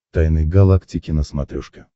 тайны галактики на смотрешке